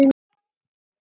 Skipta þau máli?